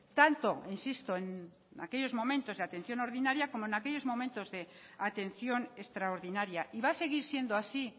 tanto insisto en aquellos momentos de atención ordinaria como en aquellos momentos de atención extraordinaria y va a seguir siendo así